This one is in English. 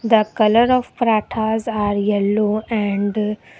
The colour of parathas are yellow and --